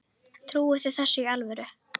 Trúi þið þessu í alvöru?